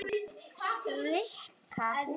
Rikka hugsar sig um.